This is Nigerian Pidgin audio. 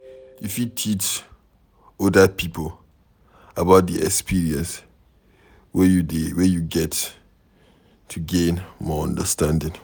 You fit teach oda pipo about di experience wey you get to gain more understanding